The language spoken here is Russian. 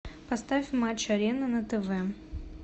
поставь матч арена на тв